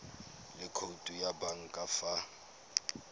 le khoutu ya banka fa